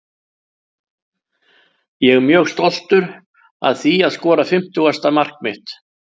Ég er mjög stoltur að því að skora fimmtugasta mark mitt.